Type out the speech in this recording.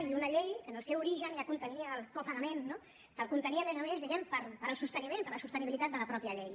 i una llei que en el seu origen ja contenia el copagament no que el contenia a més a més diguem ne per al sosteniment per a la sostenibilitat de la mateixa llei